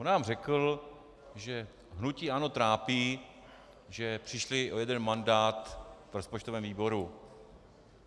On nám řekl, že hnutí ANO trápí, že přišli o jeden mandát v rozpočtovém výboru.